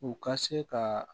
U ka se ka